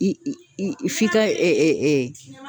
I i i f'i ka ɛ ɛ ɛ